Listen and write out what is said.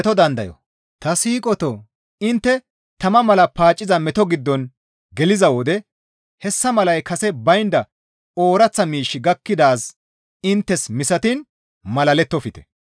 Ta siiqotoo! Intte tama mala paacciza meto giddon geliza wode hessa malay kase baynda ooraththa miishshi gakkidaaz inttes misatiin malalettofte.